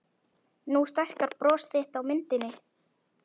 Nú stækkar bros þitt á myndinni.